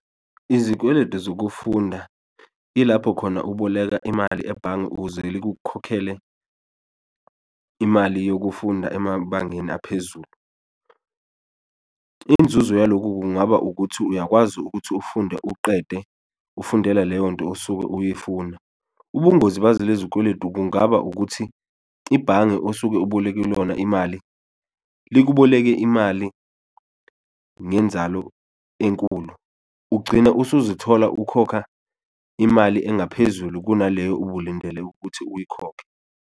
Izikweledu zokufunda ilapho khona uboleka imali ebhange ukuze likukhokhele imali yokufunda emabangeni aphezulu, inzuzo yaloku kungaba ukuthi uyakwazi ukuthi ufunde uqede ufundela leyo nto osuke uyifuna. Ubungozi bazo lezi zikweletu kungaba ukuthi ibhange osuke uboleke kulona imali likuboleke imali ngenzalo enkulu, ugcina usuzithola ukhokha imali engaphezulu kunaleyo ubulindele ukuthi uyikhokhe.